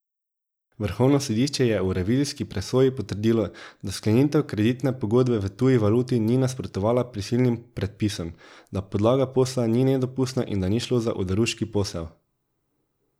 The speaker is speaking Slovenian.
Vrhovno sodišče je v revizijski presoji potrdilo, da sklenitev kreditne pogodbe v tuji valuti ni nasprotovala prisilnim predpisom, da podlaga posla ni nedopustna in da ni šlo za oderuški posel.